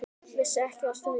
Vissi ekki af stríði.